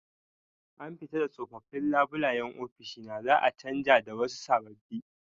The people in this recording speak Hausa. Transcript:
An fito da tsofaffin labulayen ofishi na za'a canja da wasu sababbi.